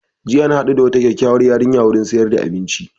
Jiya na haɗu da wata kyakyauwar yarinya wurin siyar da abinci